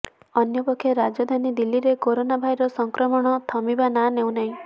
ଅନ୍ୟପକ୍ଷେ ରାଜଧାନୀ ଦିଲ୍ଲୀରେ କୋରୋନା ଭାଇରସ ସଂକ୍ରମଣ ଥମିବାର ନାଁ ନେଉନାହିଁ